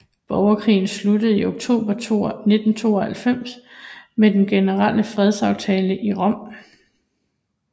Borgerkrigen sluttede i oktober 1992 med den generelle fredsaftale i Rom